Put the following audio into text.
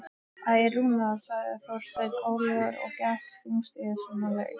Æ, Rúna sagði Þorsteinn önuglega og gekk þungstígur sömu leið.